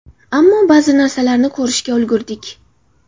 Ammo ba’zi narsalarni ko‘rishga ulgurdik.